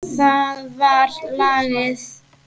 Það var lagið.